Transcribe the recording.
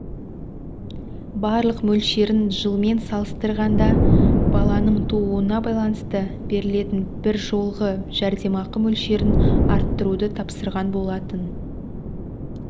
барлық мөлшерін жылмен салыстырғанда баланың тууына байланысты берілетін бір жолғы жәрдемақы мөлшерін арттыруды тапсырған болатын